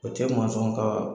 O tɛ manzɔn ka